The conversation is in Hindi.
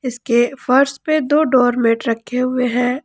इसके फर्श पे दो डोर मेट रखे हुए हैं।